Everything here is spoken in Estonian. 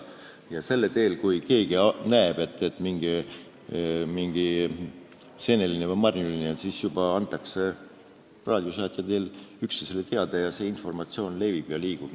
Kui keegi näeb seenelist või marjulist, siis antakse raadiosaatja teel üksteisele teada, see informatsioon levib ja liigub.